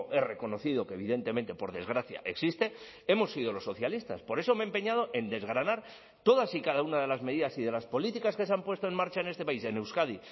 he reconocido que evidentemente por desgracia existe hemos sido los socialistas por eso me he empeñado en desgranar todas y cada una de las medidas y de las políticas que se han puesto en marcha en este país en euskadi